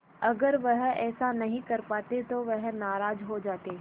अगर वह ऐसा नहीं कर पाते तो वह नाराज़ हो जाते